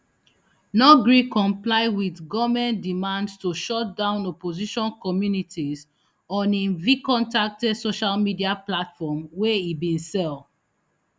no gree comply wit goment demandsto shut down opposition communities on im vkontakte social media platform wey e bin sell